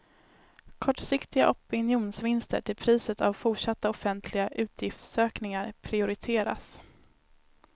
Kortsiktiga opinionsvinster till priset av fortsatta offentliga utgiftsökningar prioriteras.